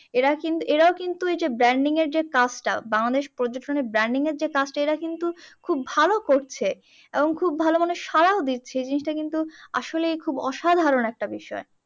এরা কিন্তু এরাও কিন্তু এই যে branding এর যে কাজটা বাংলাদেশ পর্যটনের branding এর যে কাজটা এরা কিন্তু খুব ভালো করছে এবং খুব ভাল মানে সাড়াও দিচ্ছে জিনিসটা কিন্তু আসলেই খুব অসাধারণ একটা বিষয়।